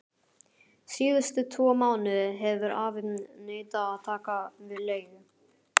Síðustu tvo mánuði hefur afi neitað að taka við leigu.